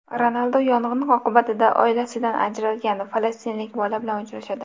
Ronaldu yong‘in oqibatida oilasidan ajralgan falastinlik bola bilan uchrashadi.